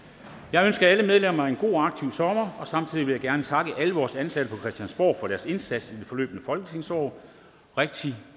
jeg ønsker alle medlemmer en god og aktiv sommer og samtidig vil jeg gerne takke alle vores ansatte på christiansborg for deres indsats i det forløbne folketingsår rigtig